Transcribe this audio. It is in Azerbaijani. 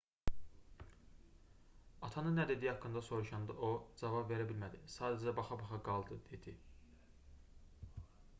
atanın nə dediyi haqqında soruşanda o cavab verə bilmədi sadəcə baxa-baxa qaldı dedi